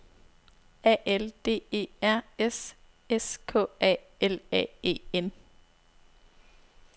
A L D E R S S K A L A E N